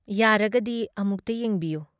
ꯌꯥꯔꯒꯗꯤ ꯑꯃꯨꯛꯇ ꯌꯦꯡꯕꯤꯌꯨ꯫